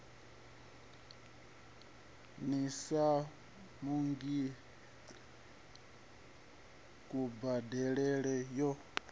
sina ndungiselo ya kubadelele yo